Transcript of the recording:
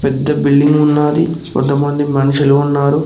పెద్ద బిల్డింగ్ ఉన్నాది కొంతమంది మనుషులు ఉన్నారు.